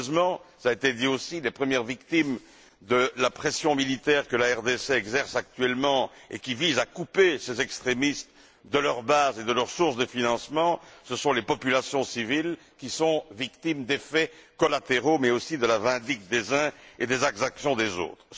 Malheureusement, les premières victimes de la pression militaire que la RDC exerce actuellement et qui vise à couper ces extrémistes de leurs bases et de leurs sources de financements sont les populations civiles, victimes des dommages collatéraux, mais aussi de la vindicte des uns et des exactions des autres.